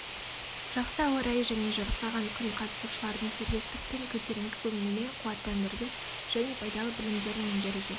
жақсы ауа райы және жарқыраған күн қатысушылардың сергектік пен көтеріңкі көңілмен қуаттандырды және пайдалы білімдерін меңгеруге